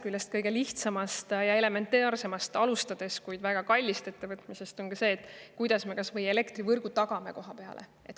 Kui alustada võib-olla kõige elementaarsemast, kuid väga kallist ettevõtmisest, siis küsimus on, kuidas tagada kohapeal elektrivõrk.